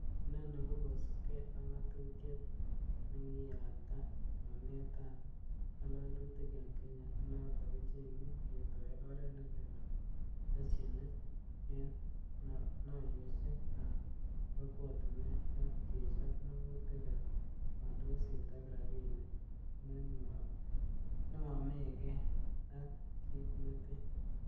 Inoni ko kosiibge ak ngatutiet nekiyabtaa mornetab Ngalalutik en Kenya, nenoton kochenge, ketoi oret ne leel nebo leshenit en noiyosiek ab kokwotinwek ak kechop mogutik ab kondoiset ak rabinik nemomegee ak kit neten.